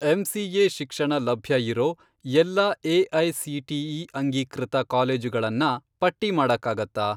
MCA. ಶಿಕ್ಷಣ ಲಭ್ಯ ಇರೋ ಎಲ್ಲಾ ಎ.ಐ.ಸಿ.ಟಿ.ಇ. ಅಂಗೀಕೃತ ಕಾಲೇಜುಗಳನ್ನ ಪಟ್ಟಿ ಮಾಡಕ್ಕಾಗತ್ತಾ?